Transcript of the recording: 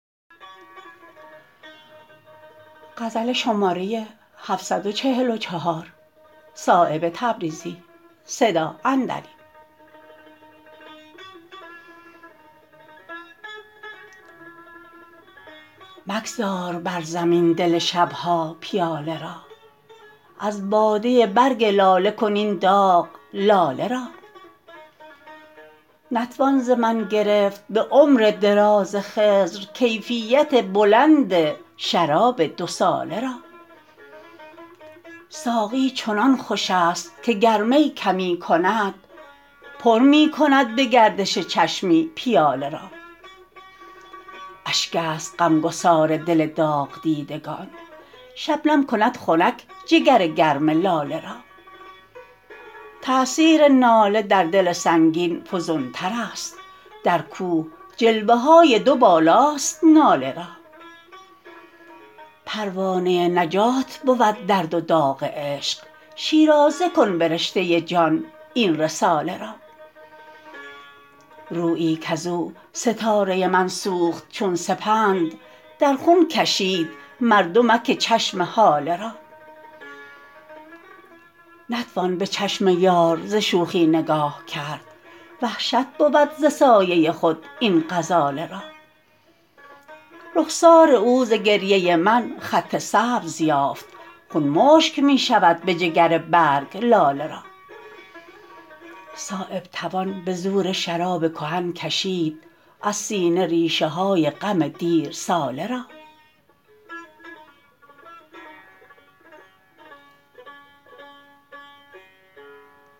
مگذار بر زمین دل شبها پیاله را از باده برگ لاله کن این داغ لاله را نتوان ز من گرفت به عمر دراز خضر کیفیت بلند شراب دو ساله را ساقی چنان خوش است که گر می کمی کند پر می کند به گردش چشمی پیاله را اشک است غمگسار دل داغدیدگان شبنم کند خنک جگر گرم لاله را تأثیر ناله در دل سنگین فزونترست در کوه جلوه های دوبالاست ناله را پروانه نجات بود درد و داغ عشق شیرازه کن به رشته جان این رساله را رویی کز او ستاره من سوخت چون سپند در خون کشید مردمک چشم هاله را نتوان به چشم یار ز شوخی نگاه کرد وحشت بود ز سایه خود این غزاله را رخسار او ز گریه من خط سبز یافت خون مشک می شود به جگر برگ لاله را صایب توان به زور شراب کهن کشید از سینه ریشه های غم دیرساله را